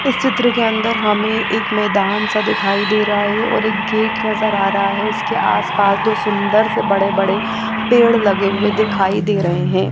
इस चित्र के अंदर हमे एक मैदान सा दिखाई दे रहा है और एक गेट नजर आ रहा है उसके आस पास दो सुन्दर से बड़े बड़े पेड़ लगे हुए दिखाई दे रहे है।